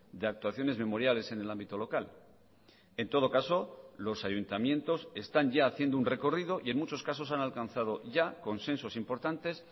de actuaciones memoriales en el ámbito local en todo caso los ayuntamientos están ya haciendo un recorrido y en muchos casos han alcanzado ya consensos importantes